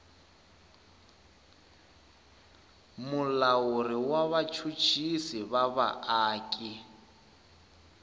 mulawuri wa vachuchisi va vaaki